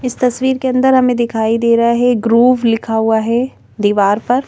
इस तस्वीर के अंदर हमें दिखाई दे रहा है एक ग्रूव लिखा हुआ है दीवार पर।